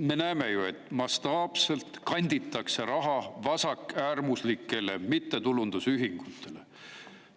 Me näeme ju, et mastaapselt kanditakse raha vasakäärmuslikele mittetulundusühingutele: